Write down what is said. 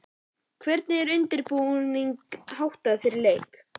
Hvernig er undirbúningi háttað fyrir leiki?